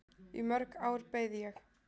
Í mörg ár beið ég.